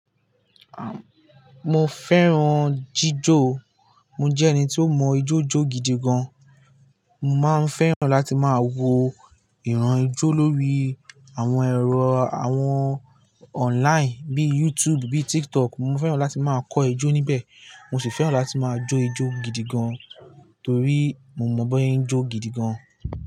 Mo fẹ́ràn jíjọ, mo jẹ́ ẹni tí ó mọ ijó jó gidi gan. Mo máa ń fẹ́ràn láti máa wo ìran ijó lórí àwọn ẹ̀rọ àwọn online bí i YouTube, bí i TikTok. Mo fẹ́ràn láti máa kọ ijó níbẹ̀, mo sì fẹ́ràn láti máa jó ijó gidi gan, torí mo mọ̀ máa banse jó gidi gan.